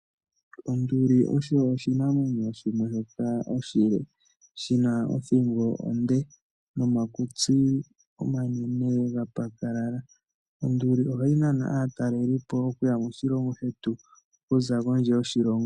Onduli osho oshinamwenyo shimwe shoka oshile, shi na othingo onde nomakutsi omanene ga pakalala. Onduli ohayi nana aatalelipo okuya moshilongo shetu okuza kondje yoshilongo.